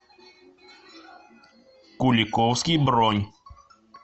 куликовский бронь